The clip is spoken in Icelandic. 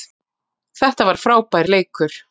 Þetta var frábær leikur